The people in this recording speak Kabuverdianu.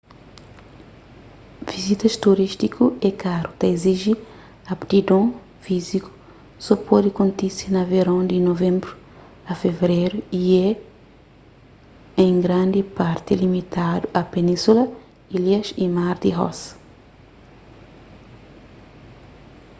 vizitas turístiku é karu ta iziji aptidon fíziku so pode kontise na veron di nov-fev y é en grandi parti limitadu a península ilhas y mar di ross